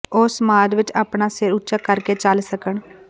ਉਹ ਸਮਾਜ ਵਿੱਚ ਆਪਣਾ ਸਿਰ ਉੱਚਾ ਕਰਕੇ ਚੱਲ ਸਕਣ